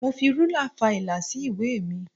Mo fi ruler fa ìlà sí ìwé mi.